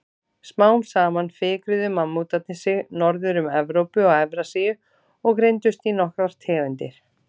Smám saman fikruðu mammútarnir sig norður um Evrópu og Evrasíu og greindust í nokkrar tegundir.